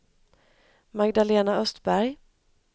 Magdalena Östberg